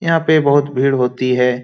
यहाँ पे बहुत भीड़ होती है।